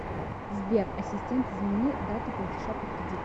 сбер ассистент измени дату платежа по кредиту